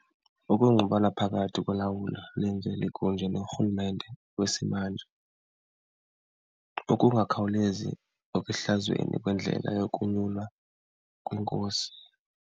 Ukungqubana phakathi kolawulo lemveli kunye norhulumente wesimanje, ukungakhawulezi nokuhlazweni kwendlela yokunyulwa kwenkosi.